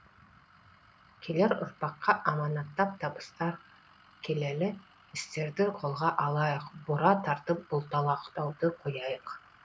келер ұрпаққа аманаттап табыстар келелі істерді қолға алайық бұра тартып бұлталақтауды қояйық